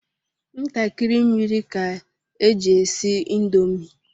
Ntakịrị mmiri ka eji esi indomi.